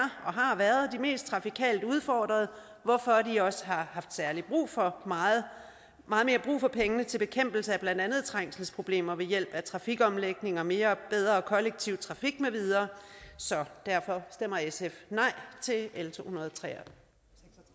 har været de mest trafikalt udfordrede hvorfor de også har haft meget mere brug for pengene til bekæmpelse af blandt andet trængselsproblemer ved hjælp af trafikomlægning og mere og bedre kollektiv trafik med videre derfor stemmer sf nej til l tohundrede